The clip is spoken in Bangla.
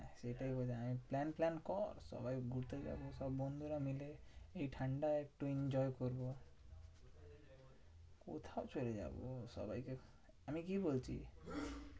এটাই বলছি আমি plan ফ্ল্যান কর সবাই ঘুরতে যাবো সব বন্ধুরা মিলে। এই ঠান্ডায় একটু enjoy করবো। কোথাও চলে যাবো সবাইকে, আমি কি বলছি?